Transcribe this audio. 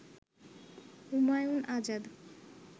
Humayun Azad